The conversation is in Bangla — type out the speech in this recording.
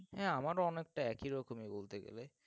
হ্যাঁ, আমারও অনেকটা একই রকমই বলতে গেলে।